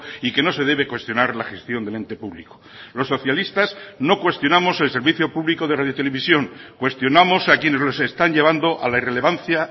y que no se debe cuestionar la gestión del ente público los socialistas no cuestionamos el servicio público de radiotelevisión cuestionamos a quienes los están llevando a la irrelevancia